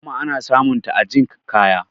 kuma ana samunta a jikn kaya